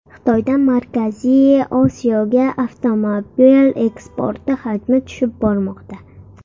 Xitoydan Markaziy Osiyoga avtomobil eksporti hajmi tushib bormoqda.